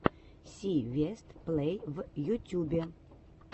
си вест плей в ютюбе